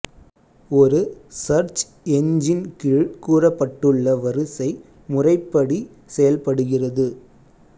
ஒரு search engine கீழ் கூறப்பட்டுள்ள வரிசை முறைப்படி செயல்படுகிறது